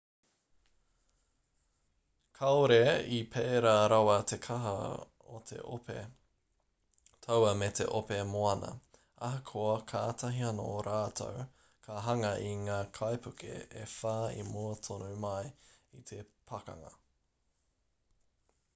kāore i pēra rawa te kaha o te ope taua me te ope moana ahakoa kātahi anō rātou ka hanga i ngā kaipuke e whā i mua tonu mai i te pakanga